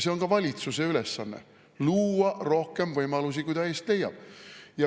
See on ka valitsuse ülesanne: luua rohkem võimalusi, kui ta eest leiab.